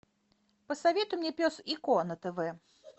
посоветуй мне пес и ко на тв